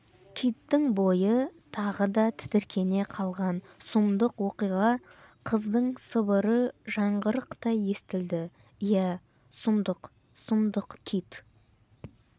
киттің бойы тағы да тітіркене қалған сұмдық оқиға қыздың сыбыры жаңғырықтай естілді иә сұмдық сұмдық кит